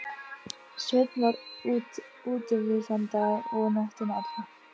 Sveinn var útivið þann dag og nóttina alla.